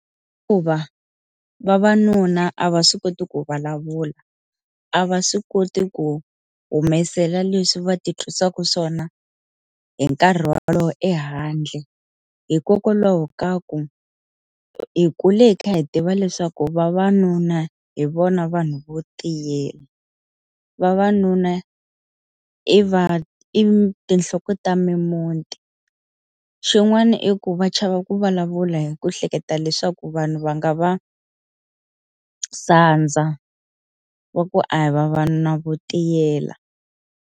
vavanuna a va swi koti ku vulavula, a va swi koti ku humesela leswi va ti twisaka swona hi nkarhi wolowo ehandle hikokwalaho ka ku, hi kule hi kha hi tiva leswaku vavanuna hi vona vanhu vo tiyela, vavanuna i i tinhloko ta mimiti. Xin'wana i ku va chava ku vulavula hi ku hleketa leswaku vanhu va nga va sandza wa ku a hi vavanuna vo tiyela.